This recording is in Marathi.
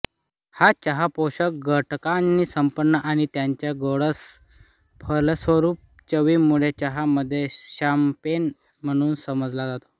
हा चहा पोषक घटकानी संपन्न आणि त्याच्या गोडस फलस्वरूप चवीमुळे चहामध्ये शँम्पेन म्हणून समजला जातो